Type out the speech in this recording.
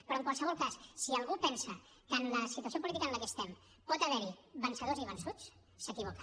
però en qualsevol cas si algú pensa que en la situació política en la que estem pot haver hi vencedors i vençuts s’equivoca